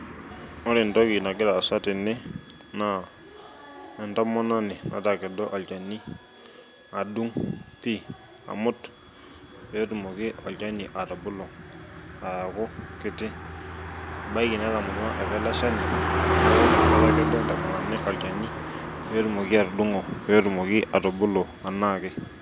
Ore entoki nagira aasa tene naa entomononi natakedo olchani adung pi, amut petumoki olchani atubulu aaku kiti. Ebaiki netamorua apa ele shani , neeku ketakedo entomoni olchani petumoki atudungo, petumoki atubulu anake.